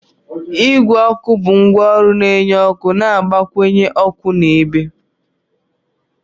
Igwe ọkụ bụ ngwaọrụ na-enye ọkụ na-agbakwunye ọkụ na ebe